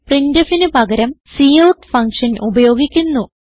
printfന് പകരം cout function ഉപയോഗിക്കുന്നു